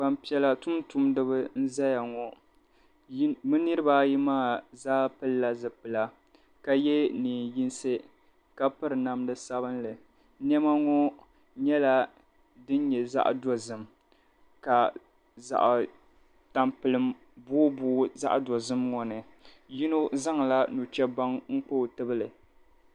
Gbampiɛla tuntumdiba n-zaya ŋɔ. Bɛ niriba ayi maa zaa pilila zipila ka ye neen' yinsi ka piri namda sabilinli. Nɛma ŋɔ nyɛla din nyɛ zaɣ' dozim ka zaɣ' tampilim boobooi din nyɛ zaɣ' dozim ŋɔ ni. Yino zaŋla nuchɛbaŋa n-kpa o nuu tibili.